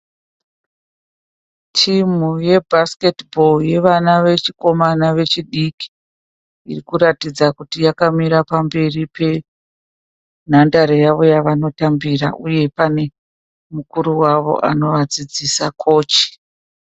Timhu ye 'basket ball' yevana vechikomana vechidiki, irikuratidza kuti yakamira pamberi penhandare yavo yavanotambira uye paneukuru wavo anovadzidzisa kochi.